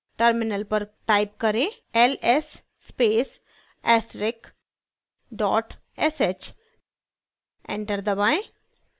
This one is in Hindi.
terminal पर type करें ls space asterisk dot sh enter दबाएं